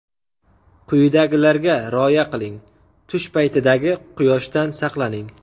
Quyidagilarga rioya qiling: Tush paytidagi quyoshdan saqlaning.